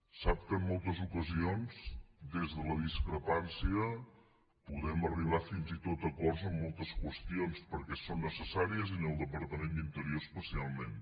sap que en moltes ocasions des de la discrepància podem arribar fins i tot a acords en moltes qüestions perquè són necessàries i en el departament d’interior especialment